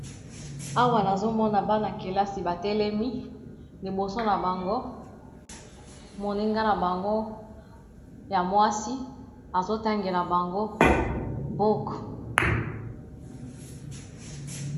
Awa nazomona bana kelasi batelemi liboso na bango moninga na bango ya mwasi azotangela bango buku.